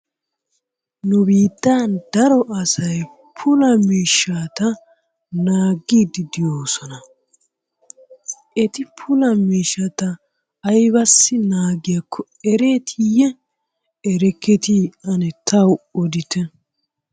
Nu biittan daro asay puula miishshata naaggiddi de'oosona. Eti puula miishshata aybbissi naagiyakko erettiyye erekketi ane taw odite.